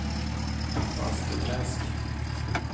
Bastuträsk